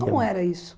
Como era isso?